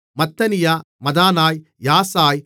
மத்தனியா மதனாய் யாசாய்